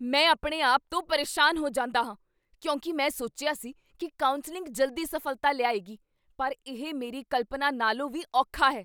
ਮੈਂ ਆਪਣੇ ਆਪ ਤੋਂ ਪਰੇਸ਼ਾਨ ਹੋ ਜਾਂਦਾ ਹਾਂ ਕਿਉਂਕਿ ਮੈਂ ਸੋਚਿਆ ਸੀ ਕੀ ਕਾਉਂਸਲਿੰਗ ਜਲਦੀ ਸਫ਼ਲਤਾ ਲਿਆਏਗੀ, ਪਰ ਇਹ ਮੇਰੀ ਕਲਪਨਾ ਨਾਲੋਂ ਵੀ ਔਖਾ ਹੈ।